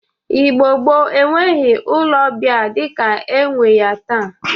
Igbo gboo enweghi ụlọ ọbịa dịka enwe ya taa